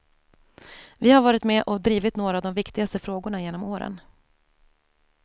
Vi har varit med och drivit några av de viktigaste frågorna genom åren.